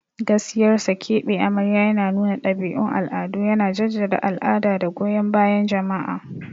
Gaskiyar sa, keɓe amarya yana nuna ɗabi'un al'adu, yana jaddada al'ada da goyon bayan jama'a.